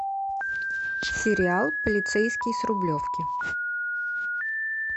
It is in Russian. сериал полицейский с рублевки